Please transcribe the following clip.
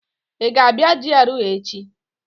Ị ga-abịa GRA echi?